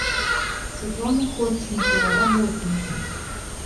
светлана ходченкова работы